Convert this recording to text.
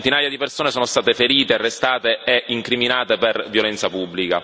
Centinaia di persone sono state ferite, arrestate e incriminate per violenza pubblica.